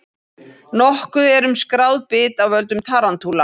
Nokkuð er um skráð bit af völdum tarantúla.